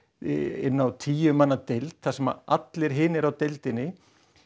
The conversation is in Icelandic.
inn á tíu manna deild þar sem allir hinir á deildinni